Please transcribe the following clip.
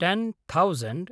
ten thousand